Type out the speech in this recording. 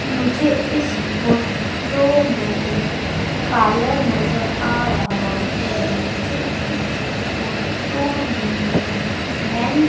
मुझे इस फोटो में पार्लर नजर आ रहा है मुझे इस फोटो में मेन --